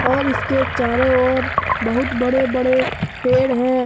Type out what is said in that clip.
और इसके चारों ओर बहुत बड़े बड़े पेड़ हैं।